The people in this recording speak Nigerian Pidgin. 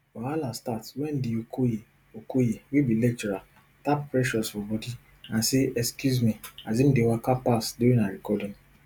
wahala start wen de okoye okoye wey be lecturer tap precious for body and say excuse me as im dey waka pass during her recording